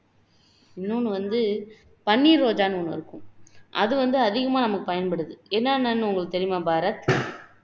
இன்னொண்ணு வந்து பன்னீர் ரோஜான்னு ஒண்ணு இருக்கும் அது வந்து அதிகமா நமக்கு பயன்படுது என்னன்னான்னு உங்களுக்கு தெரியுமா பாரத்